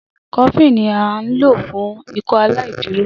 Cofflin ni à nlo fún Ikọaláìdúró